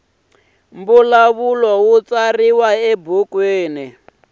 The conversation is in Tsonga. mbulavulo wu tsariwa ebukwini